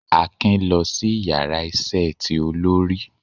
Akin lọ si ìyára iṣẹ tí olori